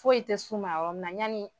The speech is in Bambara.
Foyisi tɛ s'u ma yɔrɔ min na yani.